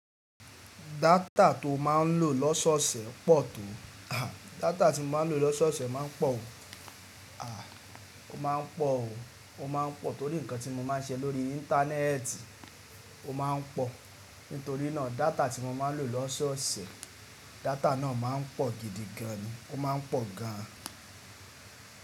Data to máa ń lò lọ́sọ̀ọ̀sẹ̀ pọ̀ tó. Data tí mo máa ń lò lọ́sọ̀ọ̀sẹ̀ máa ń pọ̀ o, aà, ó ma pọ̀ o, ó ma pọ̀ torí nǹkan tí mo máa ń ṣe lórí Íńtánẹ́ẹ̀tì ó máa ń pọ̀. Nítorí náà, data tí mo máa ń lò lọ́sọ̀ọ̀sẹ̀, data náà máa ń pọ̀ gidi gan ni, ó máa ń pọ̀ gan.